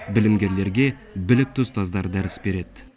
білімгерлерге білікті ұстаздар дәріс береді